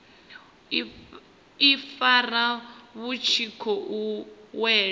ifara vhu tshi khou wela